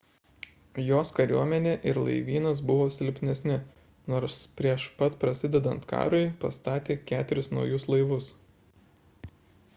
jos kariuomenė ir laivynas buvo silpnesni nors prieš pat prasidedant karui pastatė keturis naujus laivus